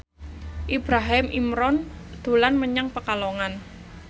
Ibrahim Imran dolan menyang Pekalongan